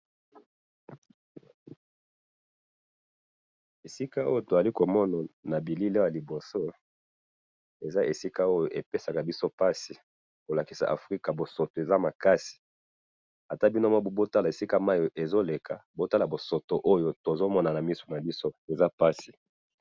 To moni bosoto ezo bima esika oyo.